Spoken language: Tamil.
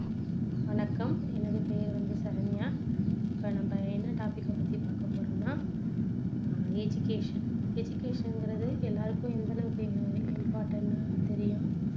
வணக்கம் எனது பெயர் வந்து சரண்யா இப்போ நம்ம என்ன topic கை பத்தி பார்க்க போறோம்னா ஆஹ் education education ங்குறது எல்லாருக்கும் எந்த அளவுக்கு important ன்னு தெரியும்